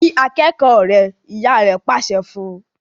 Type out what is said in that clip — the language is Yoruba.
kí akékòó rẹ! ìyá rẹ pàṣẹ fún.